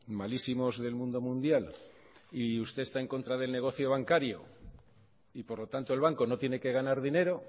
malísimos del mundo mundial y usted está en contra del negocio bancario y por lo tanto el banco no tiene que ganar dinero